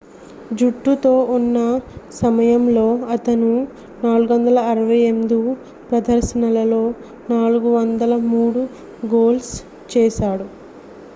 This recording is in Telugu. జట్టుతో ఉన్న సమయంలో అతను 468 ప్రదర్శనలలో 403 గోల్స్ చేశాడు